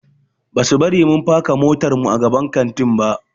Basu bari mun faka motarmu a gaban kantin ba.